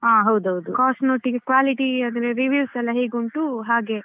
Cost ನೊಟ್ಟಿಗೆ